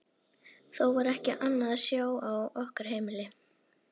Þó var ekki annað að sjá á okkar heimili.